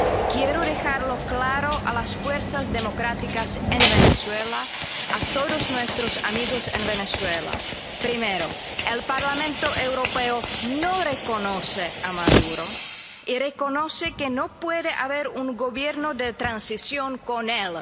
Quiero dejar claro a las fuerzas democráticas en Venezuela, a todos nuestros amigos en Venezuela, que, primero, el Parlamento Europeo no reconoce a Maduro y reconoce que no puede haber un gobierno de transición con él.